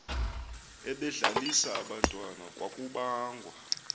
ebedlalisa abantwana kwakubangwa